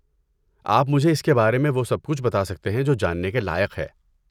آپ مجھے اس کے بارے وہ سب کچھ بتا سکتے ہیں جو جاننے کے لائق ہے۔